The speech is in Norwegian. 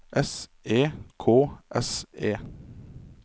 S E K S E